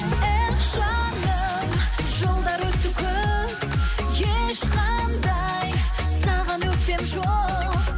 эх жаным жылдар өтті көп ешқандай саған өкпем жоқ